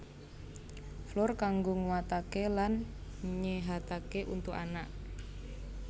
Flour kanggo nguatake lan nyehatake untu anak